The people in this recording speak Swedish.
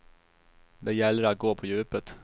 Det gäller att gå på djupet.